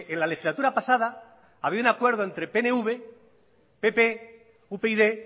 la legislatura pasada había un acuerdo entre pnv pp upyd